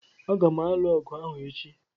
Agam alu agu ahu echi